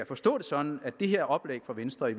forstå det sådan at det her oplæg fra venstre i